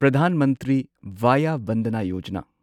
Pradhan Mantri Vaya Vandana Yojana